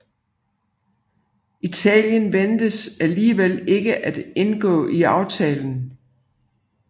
Italien ventes alligevel ikke at indgå i aftalen